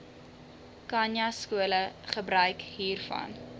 khanyaskole gebruik hiervan